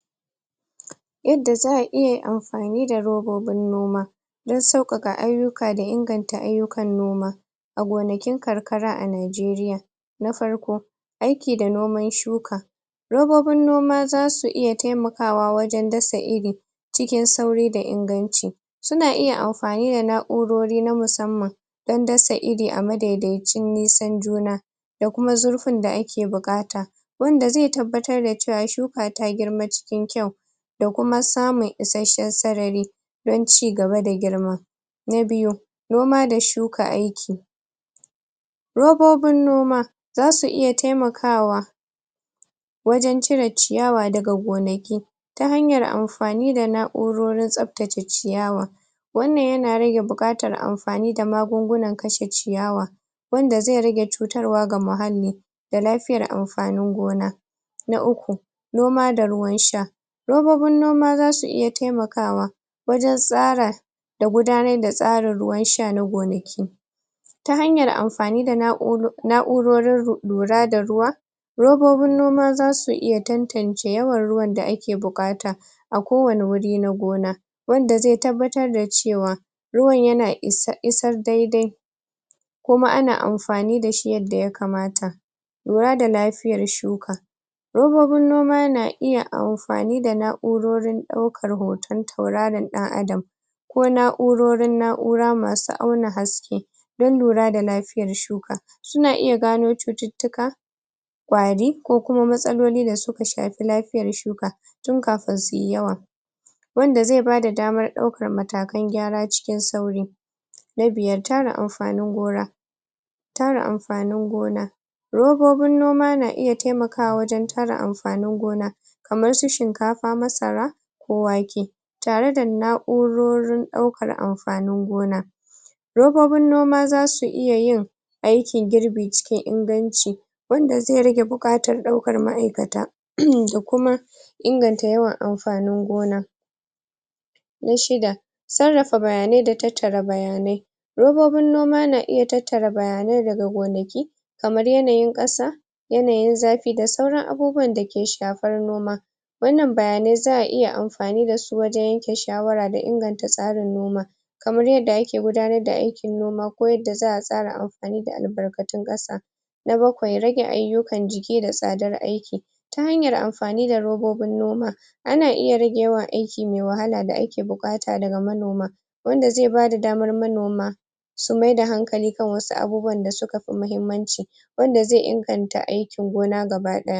Yadda za'a iya amfani da robobin noma dan sauƙaƙa ayyuka da inganta ayyukan noma a gonakin karkara a najeriya na farko; aiki da noman shuka robobin noma zasu iya taima kawa wajen dasa iri cikin sauri da inganci suna iya am fani da na'urori na musamman dan dasa iri a madaidaicin nisan juna da kuma zurfin da ake buƙata wanda zai tabbatar da cewa shuka ta girma cikin kyau da kuma samun isashshen sarari don cigaba da girma na biyu; noma da shuka aiki robobin noma zasu iya taimakawa wajen cire ciyawa daga gonaki ta hanyar amfani da na'urorin tsaftace ciyawa wannan yana rage buƙatar amfani da magungunan kashe ciyawa wanda zai rage cutarwa ga muhalli da lafiyar amfanin gona na uku; noma da ruwan sha robobin noma zasu iya taimakawa wajen tsara da gudanar da tsarin ruwan sha na gonaki ta hanyar amfani da na'u na'urorin lura da ruwa robobin noma zasu iya tantance yawan ruwan da ake buƙata a ko wane guri na gona wanda zai tabbatar da cewa ruwan yana is.. isar daidai kuma ana amfani dashi yanda ya kamata lura da lafiyar shuka robobin noma na iya amfani da na'urorin ɗaukar hoton tauraron ɗan adam ko na'urorin na'ura masu auna haske don lura da lafiyar shuka suna iya gano cututtuka ƙwari ko kuma matsaloli da suka shafi lafiyar shuka tun kafin suyi yawa wanda zai bada damar ɗaukar matakan gyara cikin sauri na biyar; tara amfanin gona tara amfanin gona robobin noma na iya taimakawa wajen tara amfanin gona kamar su shinkafa, masara ko wake tare da na'urorin ɗaukar amfanin gona robobin noma zasu iya yin aikin girbi cikin inganci wanda zai rage buƙatar ɗaukar ma'aikata um da kuma inganta yawan amfanin gona na shida; sarrafa bayanai da tattara bayanai robobin noma na iya tattara bayanai daga gonaki kamar yanayin ƙasa yanayin zafi da sauran abubuwan dake shafar noma wannan bayanai za'a iya am fani dashi wajen yanke shawara da inganta tsarin noma kamar yanda ake gudanar da ai kin noma ko yanda za'a tsara am fani da albarkatun ƙasa na bakwai; rage ayyukan jiki da tsadar aiki ta hanyar am fani da robobin noma ana iya rage yawan aiki mai wahala da ake buƙata daga manoma wanda zai bada damar manoma su maida hankali kan wasu abubuwan da suka fi mahimmanci wanda zai inganta aiki gona gaba ɗaya